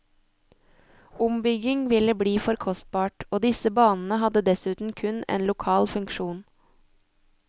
Ombygging ville bli for kostbart, og disse banene hadde dessuten kun en lokal funksjon.